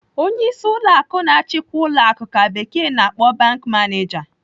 Onyeisi ụlọ akụ na-achikwa ụlọ akụ ka bekee na-akpọ 'bank manager.'